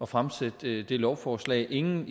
fremsætte det lovforslag inden